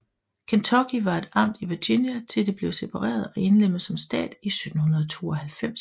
Kentucky var et amt i Virginia til det blev separeret og indlemmet som stat i 1792